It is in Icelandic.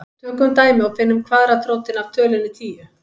Tökum dæmi og finnum kvaðratrótina af tölunni tíu.